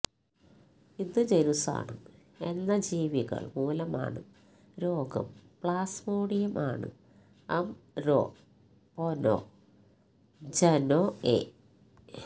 ഇത് ജനുസ്സാണ് എന്ന ജീവികൾ മൂലമാണ് രോഗം പ്ലാസ്മോഡിയം ആണ് അംരൊപൊനൊജ്നൊഎ